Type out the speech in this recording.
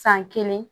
San kelen